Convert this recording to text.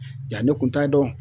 Ja ne kun t'a dɔn